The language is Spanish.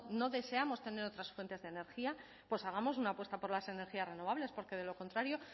no deseamos tener otras fuentes de energía pues hagamos una apuesta por las energías renovables porque de lo contrario